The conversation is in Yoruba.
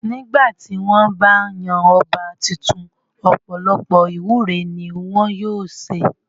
Nígbà tí wọ́n bá ń yan ọba tuntun ọ̀pọ̀lọpọ̀ ìwúre ni wọn yóò ṣe.